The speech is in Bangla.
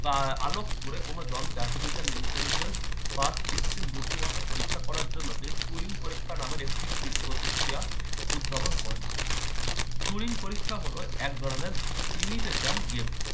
আহ আলোক করে কোন জল যে artificial intelligence বা কৃত্রিম বুদ্ধিমত্তা পরীক্ষা করার জন্য যে turing পরীক্ষা নামক একটি ক্রিদ প্রতিক্রিয়া উদ্ভাবন করেন। turing পরীক্ষা হলো এক ধরনের imitation game